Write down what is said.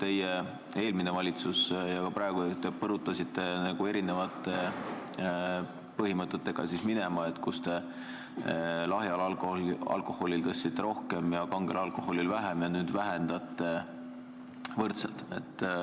Teie eelmine valitsus põrutas teistsuguste põhimõtetega minema: lahjal alkoholil tõstsite aktsiisi rohkem ja kangel alkoholil vähem, ja nüüd vähendate võrdselt.